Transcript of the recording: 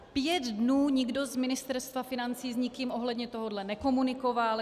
Pět dnů nikdo z Ministerstva financí s nikým ohledně tohohle nekomunikoval.